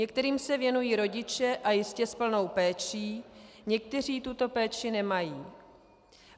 Některým se věnují rodiče, a jistě s plnou péčí, někteří tuto péči nemají.